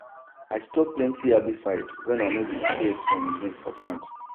i stop plenty herbicide when i no dey see earthworm again for ground